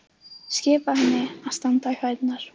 Skipa henni að standa í fæturna.